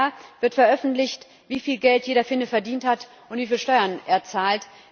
Einmal im Jahr wird veröffentlicht, wie viel Geld jeder Finne verdient hat und wie viel Steuern er zahlt.